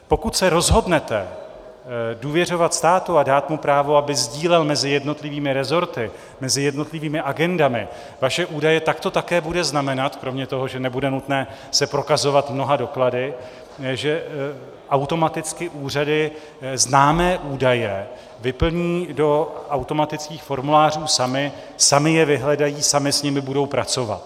Pokud se rozhodnete důvěřovat státu a dát mu právo, aby sdílel mezi jednotlivými resorty, mezi jednotlivými agendami vaše údaje, tak to také bude znamenat, kromě toho, že nebude nutné se prokazovat mnoha doklady, že automaticky úřady známé údaje vyplní do automatických formulářů samy, samy je vyhledají, samy s nimi budou pracovat.